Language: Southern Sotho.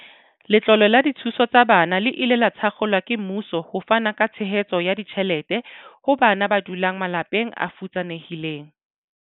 Letlole la dithuso tsa bana le ile la thakgolwa ke mmuso ho fana ka tshehetso ya ditjhelete ho bana ba.